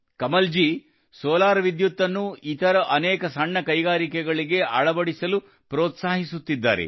Kamalji solar ವಿದ್ಯುತ್ ಅನ್ನು ಇತರ ಅನೇಕ ಸಣ್ಣ ಕೈಗಾರಿಕೆಗಳಿಗೆ ಅಳವಡಿಸಲು ಪ್ರೋತ್ಸಾಹಿಸುತ್ತಿದ್ದಾರೆ